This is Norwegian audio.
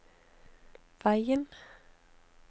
veien